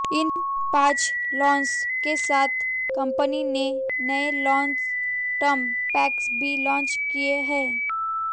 इन पांच प्लान्स के साथ कंपनी ने नए लॉन्ग टर्म पैक्स भी लॉन्च किए हैं